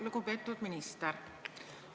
Lugupeetud minister!